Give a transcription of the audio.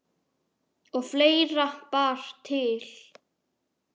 Og fleira bar til.